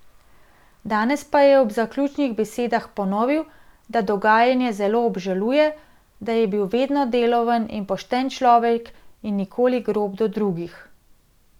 Danes pa je ob zaključnih besedah ponovil, da dogajanje zelo obžaluje, da je bil vedno deloven in pošten človek in nikoli grob do drugih.